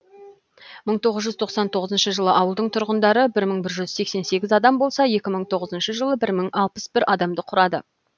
мың тоғыз жүз тоқсан тоғызыншы жылы ауылдың тұрғындары бір мың жүз сексен сегіз адам болса екі бір мың тоғызыншы жылы мың алпыс бір адамды құрады